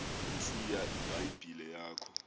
nantsiya ibhayibhile yakho